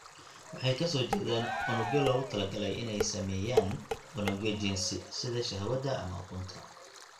Waxay ka soo jeedaan unugyo loogu talagalay inay sameeyaan unugyo jinsi (sida shahwada ama ukunta).